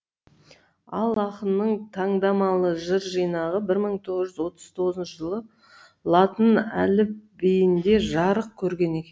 ал ақынның таңдамалы жыр жинағы бір мың тоғыз жүз отыз тоғызыншы жылы латын әліпбиінде жарық көрген екен